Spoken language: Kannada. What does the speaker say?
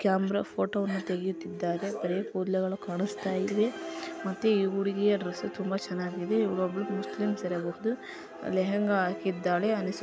ಕ್ಯಾಮೆರಾ ಫೋಟೋ ಅನ್ನು ತೆಗೆಯುತ್ತಿದ್ದಾರೆ. ಬರೆ ಕೂದಲುಗಳು ಕಾಣಿಸುತ್ತಾ ಇವೆ ಮತ್ತೆ ಈ ಹುಡುಗಿಯ ಡ್ರೆಸ್ಸು ತುಂಬಾ ಚನ್ನಾಗಿ ಇದೆ ಒಬ್ಬಳು ಮುಸ್ಲಿಂ ಲೆಹೆಂಗಾ ಹಾಕಿದ್ದಾಳೆ.